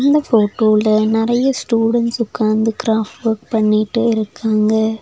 இந்த ஃபோட்டோல நெறைய ஸ்டூடண்ட்ஸ் உக்காந்து கிராஃப்ட் ஒர்க் பண்ணிட்டு இருக்காங்க.